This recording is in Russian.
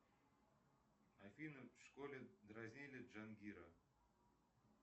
афина в школе дразнили джангира